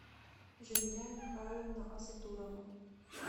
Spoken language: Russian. жамиля михайловна асатурова